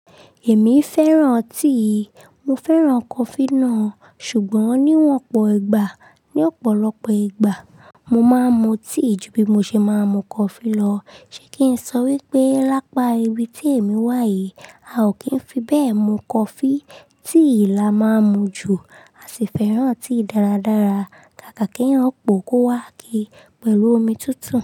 Èmi fẹ́ràn tíì, mo fẹ́ràn coffee náà, ṣùgbọ́n níwọ̀n ọ̀pọ̀ ìgbà, ní ọ̀pọ̀lọpọ̀ ìgbà, mo máa ń mu tíì ju bí mo ṣe máa ń mu coffee lọ. Ṣé kí n sọ wípé lápá ibi tí èmi wà yìí, a ò kí ń fi bẹ́ẹ̀ mu coffee, tíì la máa ń mu jù, a sì fẹ́ràn tíì dáradára. Kàkà kí èyán pọ̀ kó wá kíi, pẹ̀lú omi tútù.